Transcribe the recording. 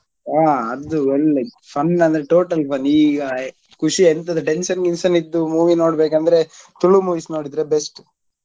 ಹಾ ಅದು ಒಳ್ಳೆ fun ಅಂದ್ರೆ total fun ಈಗ ಖುಷಿ ಈಗ ಎಂತಾದ್ರು tension ಗಿನ್ಷನ್ ಇದ್ದು movie ನೋಡ್ಬೇಕ್ ಅಂದ್ರೆ ತುಳು movies ನೋಡಿದ್ರೆ best .